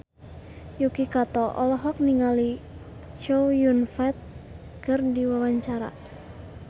Yuki Kato olohok ningali Chow Yun Fat keur diwawancara